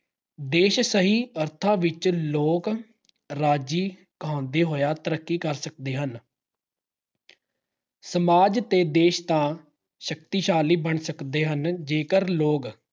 ਦੇਸ਼ ਸਹੀ ਅਰਥਾਂ ਵਿੱਚ ਲੋਕ-ਰਾਜੀ ਕਹਾਉਂਦੇ ਹੋਇਆ ਤਰੱਕੀ ਕਰ ਸਕਦੇ ਹਨ। ਸਮਾਜ ਤੇ ਦੇਸ਼ ਤਾਂ ਸ਼ਕਤੀਸ਼ਾਲੀ ਬਣ ਸਕਦੇ ਹਨ ਜੇਕਰ ਲੋਕ